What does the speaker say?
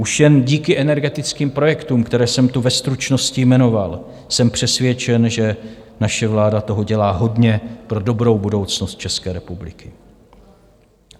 Už jen díky energetickým projektům, které jsem tu ve stručnosti jmenoval, jsem přesvědčen, že naše vláda toho dělá hodně pro dobrou budoucnost České republiky.